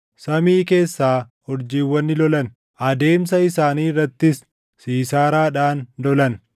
Samii keessaa urjiiwwan ni lolan; adeemsa isaanii irrattis Siisaaraadhaan lolan.